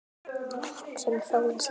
Hugsar um hróin sín.